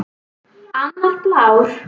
Annar blár.